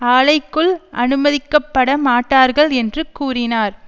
ஆலைக்குள் அனுமதிக்கப்பட மாட்டார்கள் என்று கூறினார்